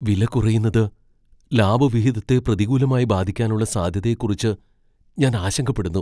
വില കുറയുന്നത് ലാഭവിഹിതത്തെ പ്രതികൂലമായി ബാധിക്കാനുള്ള സാധ്യതയെക്കുറിച്ച് ഞാൻ ആശങ്കപ്പെടുന്നു.